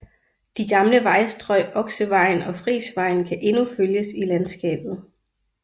De gamle vejstrøg Oksevejen og Frisvejen kan endnu følges i landskabet